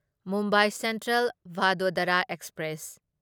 Mumbai central Vadodara express